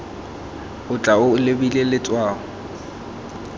o tla o lebile letshwao